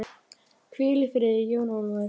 Hvíl í friði, Jón Ólafur.